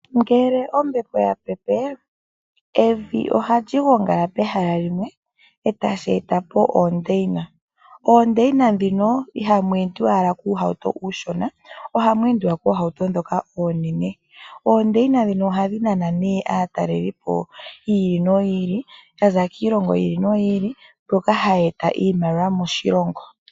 Ngele ombapo ya pepe, evi ohali gongala pehala limwe e tashi eta po oondeina. Oondeina ndhino ihamu endiwa kuuhauto uushona, ohamu endiwa koohauto oonene. Oondeina ndhino ohadhi nana aatalelipo yi ili noyi ili, ya za kiilongo yi ili noyi ili mboka haye eta iimaliwa moshilongo.